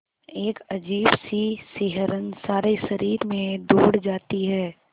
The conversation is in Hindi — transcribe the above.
एक अजीब सी सिहरन सारे शरीर में दौड़ जाती है